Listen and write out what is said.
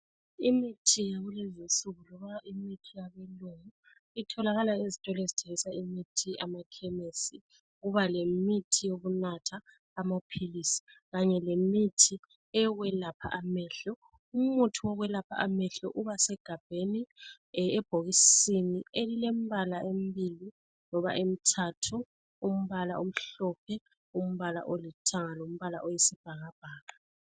Imithi yalezinsuku loba imithi yabelungu itholakala ezitolo ezithengisa imithi emakhemesi kubalemithi eyokunatha, amaphilisi kanye lemithi yokwelapha amehlo. Umuthi wokwelapha amehlo ubasegabheni, ebhokisini elilembala emibili loba emithathu. Umbala omhlophe, olithanga loyisibhakabhaka.